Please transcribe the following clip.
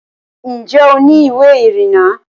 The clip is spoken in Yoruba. ǹjẹ́ o ní ìwé ìrìnnà?